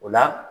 O la